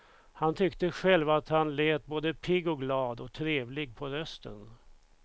Han tyckte själv att han lät både pigg och glad och trevlig på rösten.